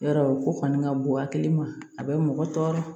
Yarɔ o kɔni ka bon hakili ma a bɛ mɔgɔ tɔɔrɔ